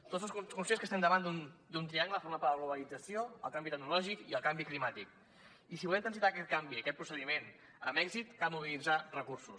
tots som conscients que estem davant d’un triangle format per la globalització el canvi tecnològic i el canvi climàtic i si volem transitar aquest canvi aquest procediment amb èxit cal mobilitzar recursos